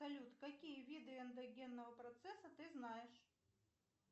салют какие виды эндогенного процесса ты знаешь